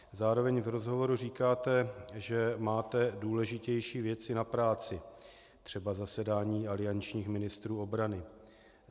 Zároveň v rozhovoru říkáte, že máte důležitější věci na práci - třeba zasedání aliančních ministrů obrany.